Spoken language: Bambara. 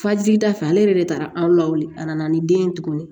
Fajigida fɛ ale yɛrɛ de taara an lawale a nana ni den ye tuguni